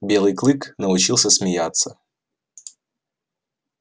белый клык научился смеяться